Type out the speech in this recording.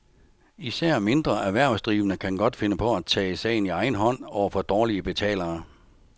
Især mindre erhvervsdrivende kan godt finde på at tage sagen i egen hånd over for dårlige betalere.